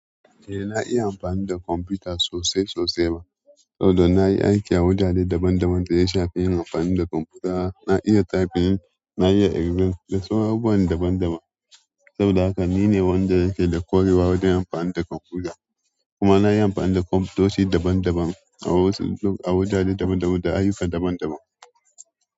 Eh, na iya amfani da kwamfuta sosai sosai ma. Saboda nayi aiki a wajaje daban-daban da ya shafi yin amfani da kwamfuta. Na iya typing, na iya excel da sauran abubuwan daban-daban. Saboda haka nine wanda yake da ƙwarewa wajen amfani da kwamfuta. Kuma na yi amfani da kwamososhi daban-daban a wajaje daban-daban, da ayyuka daban-daban.